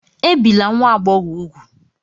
Ebila nwa agbọghọ úgwù!